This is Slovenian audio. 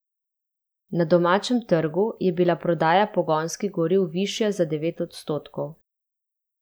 Na domačem trgu je bila prodaja pogonskih goriv višja za devet odstotkov.